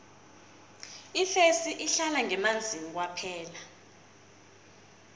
ifesi ihlala ngemanzini kwaphela